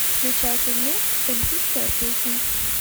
включай фильмец эльфийская песнь